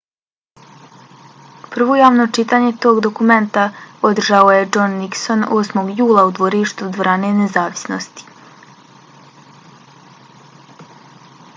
prvo javno čitanje tog dokumenta održao je john nixon 8. jula u dvorištu dvorane nezavisnosti